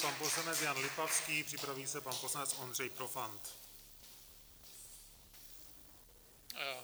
Pan poslanec Jan Lipavský, připraví se pan poslanec Ondřej Profant.